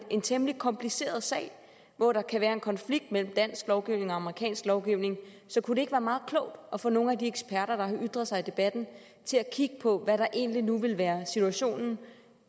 en temmelig kompliceret sag hvor der kan være en konflikt mellem dansk lovgivning og amerikansk lovgivning så kunne det ikke være meget klogt at få nogle af de eksperter der har ytret sig i debatten til at kigge på hvad der egentlig nu ville være situationen